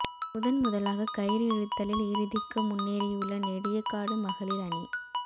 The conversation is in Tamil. முதன் முதலாக கயிறு இழுத்தலில் இறுதிக்கு முன்னேறியுள்ள நெடியகாடு மகளிர் அணி